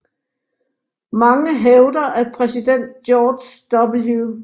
Mange hævder at præsident George W